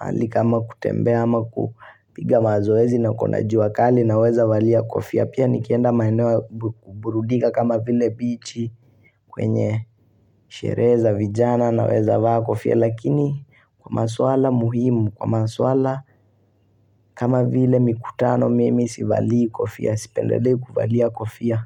mahali kama kutembea ama kupiga mazoezi na kuna jua kali naweza valia kofia. Pia nikienda maeneo burudika kama vile bichi kwenye sherehe za vijana naweza vaa kofia lakini kwa maswala muhimu, kwa maswala kama vile mikutano mimi sivalii kofia, sipendelei kuvalia kofia.